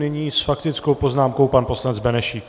Nyní s faktickou poznámkou pan poslanec Benešík.